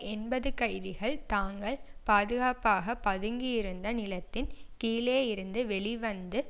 எண்பது கைதிகள் தாங்கள் பாதுகாப்பாக பதுங்கியிருந்த நிலத்தின் கீழேயிருந்து வெளிவந்து